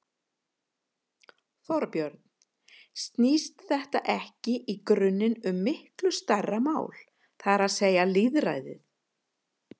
Þorbjörn: Snýst þetta ekki í grunninn um miklu stærra mál, það er að segja lýðræði?